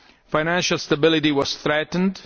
Financial stability was threatened